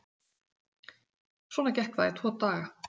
Svona gekk það í tvo daga.